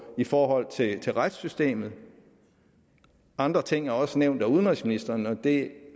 i forhold til til retssystemet andre ting er også nævnt af udenrigsministeren og det